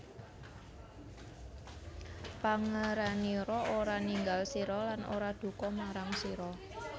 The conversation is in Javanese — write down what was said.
Pangeranira ora ninggal sira lan ora duka marang sira